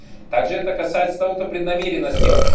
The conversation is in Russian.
также это касается того кто преднамеренно сделал